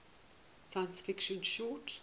science fiction short